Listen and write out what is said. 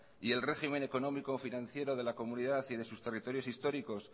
y el régimen económico financiero de la comunidad y de sus territorios históricos